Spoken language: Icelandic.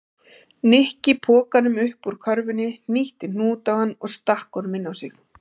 Nikki pokanum upp úr körfunni, hnýtti hnút á hann og stakk honum inn á sig.